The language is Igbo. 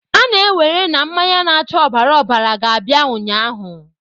A na-ewere na mmanya na-acha ọbara ọbara ga-abịa ụnyaahụ!